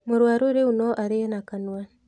Mũrũaru rĩũ no arĩe na kanua.